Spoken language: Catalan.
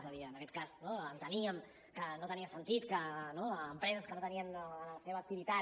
és a dir en aquest cas enteníem que no tenia sentit que empreses que no tenien en la seva activitat